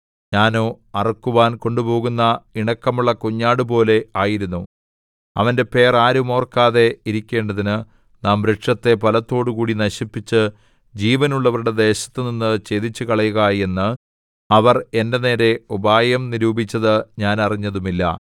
ഞാനോ അറുക്കുവാൻ കൊണ്ടുപോകുന്ന ഇണക്കമുള്ള കുഞ്ഞാടുപോലെ ആയിരുന്നു അവന്റെ പേർ ആരും ഓർക്കാതെ ഇരിക്കേണ്ടതിന് നാം വൃക്ഷത്തെ ഫലത്തോടുകൂടി നശിപ്പിച്ച് ജീവനുള്ളവരുടെ ദേശത്തുനിന്ന് ഛേദിച്ചുകളയുക എന്ന് അവർ എന്റെ നേരെ ഉപായം നിരൂപിച്ചത് ഞാൻ അറിഞ്ഞതുമില്ല